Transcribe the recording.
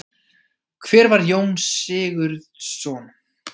Hver var Jón Sigurðsson?